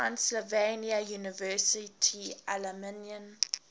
transylvania university alumni